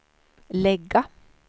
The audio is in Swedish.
lägga